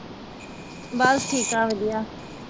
ਬਸ ਠੀਕ ਆ ਵਧੀਆ